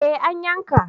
Eh an yanka